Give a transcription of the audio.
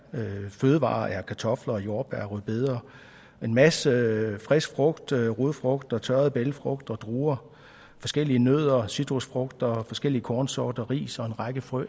fødevarer er kartofler og jordbær rødbeder en masse frisk frugt rodfrugter tørrede bælgfrugter druer forskellige nødder citrusfrugter forskellige kornsorter ris og en række frø